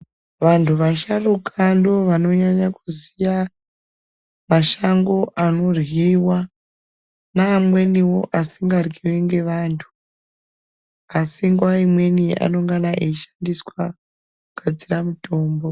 Vantu vasharuka ndivo vanonyanya kuziya mashango anoryiwa neamweniwo asingaryiwi ngevantu asi nguva imweni anongana eishandiswa kugadzira mutombo.